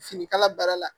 Finikala baara la